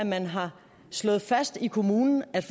man har slået fast i kommunen at